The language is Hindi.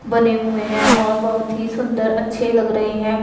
बने हुए हैं और बहोत ही सुंदर अच्छे लग रहे हैं।